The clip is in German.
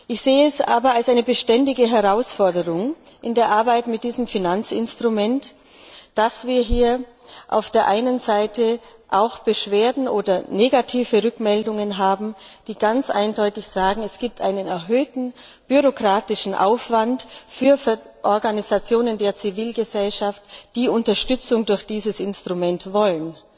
Ich sehe es aber als eine beständige Herausforderung in der Arbeit mit diesem Finanzinstrument, dass wir hier auf der einen Seite auch Beschwerden oder negative Rückmeldungen haben, die ganz eindeutig sagen, dass es einen erhöhten bürokratischen Aufwand für Organisationen der Zivilgesellschaft gibt, die Unterstützung durch dieses Instrument wollen.